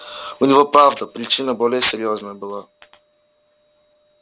у него правда причина более серьёзная была